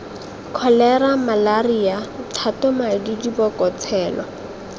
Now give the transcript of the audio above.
kholera malaria thotamadi diboko tshelo